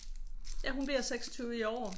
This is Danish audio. Ja hun bliver 26 i år